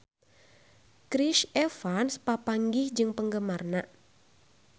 Chris Evans papanggih jeung penggemarna